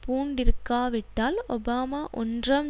பூண்டிருக்காவிட்டால் Obama ஒன்றாம்